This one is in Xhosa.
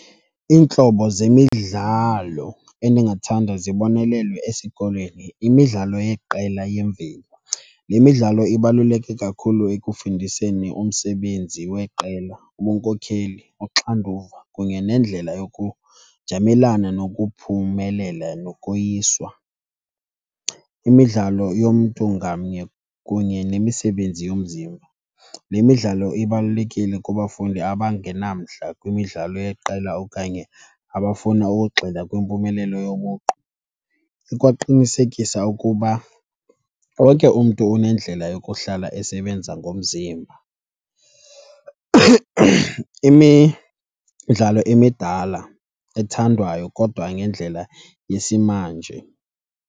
Iintlobo zemidlalo endingathanda zibonelelwe esikolweni yimidlalo yeqela yemveli. Le midlalo ibaluleke kakhulu ekufundiseni umsebenzi weqela, ubunkokheli, uxanduva kunye nendlela yokujamelana nokuphumelela nokoyiswa. Imidlalo yomntu ngamnye kunye nemisebenzi yomzimba, le midlalo ibalulekile kubafundi abangenamdla kwimidlalo yeqela okanye abafuna ukugxila kwimpumelelo yobuqu. Ikwaqinisekisa ukuba wonke umntu unendlela yokuhlala esebenza ngomzimba. Imidlalo emidala ethandwayo kodwa ngendlela yesimanje.